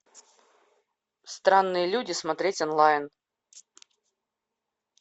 странные люди смотреть онлайн